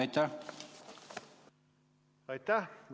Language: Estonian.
Aitäh!